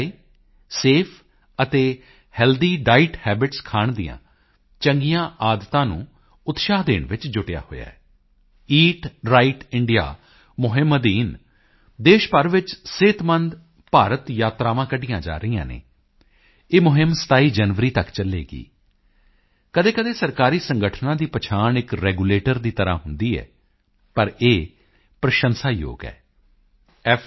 ਆਈ ਸਫੇ ਅਤੇ healthy diet habits ਖਾਣ ਦੀਆਂ ਚੰਗੀਆਂ ਆਦਤਾਂ ਨੂੰ ਉਤਸ਼ਾਹ ਦੇਣ ਵਿੱਚ ਜੁਟਿਆ ਹੋਇਆ ਹੈ ਈਟ ਰਾਈਟ ਇੰਡੀਆ ਮੁਹਿੰਮ ਅਧੀਨ ਦੇਸ਼ ਭਰ ਵਿੱਚ ਸਿਹਤਮੰਦ ਭਾਰਤ ਯਾਤਰਾਵਾਂ ਕੱਢੀਆਂ ਜਾ ਰਹੀਆਂ ਹਨ ਇਹ ਮੁਹਿੰਮ 27 ਜਨਵਰੀ ਤੱਕ ਚੱਲੇਗੀ ਕਦੀਕਦੀ ਸਰਕਾਰੀ ਸੰਗਠਨਾਂ ਦੀ ਪਛਾਣ ਇੱਕ ਰੈਗੂਲੇਟਰ ਦੀ ਤਰ੍ਹਾਂ ਹੁੰਦੀ ਹੈ ਪਰ ਇਹ ਪ੍ਰਸ਼ੰਸਾਯੋਗ ਹੈ f